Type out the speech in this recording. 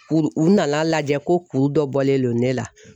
U u na n'a lajɛ ko kuru dɔ bɔlen do ne la.